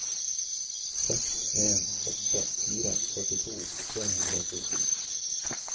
seks en åtte fire førtito tre hundre og fjorten